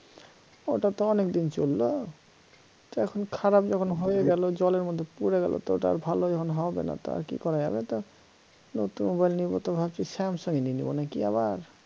ওটা তো অনেকদিন চলল তা এখন খারাপ যখন হয়ে গেল জলের মধ্যে পরে গেল তা আর ভাল যখন হবে না তা আর কি করা যাবে তা নতুন mobile নিব তো ভাবছি samsung ই নিয়ে নেব নাকি আবার